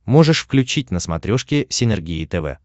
можешь включить на смотрешке синергия тв